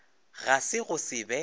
ga se go se be